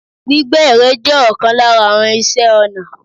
Gbígbẹ ere jẹ́ òkan lára àwon ìṣe ọnà